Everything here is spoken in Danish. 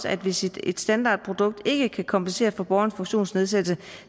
at hvis et standardprodukt ikke kan kompensere for borgerens funktionsnedsættelse